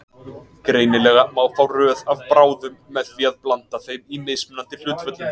Greinilega má fá röð af bráðum með því að blanda þeim í mismunandi hlutföllum.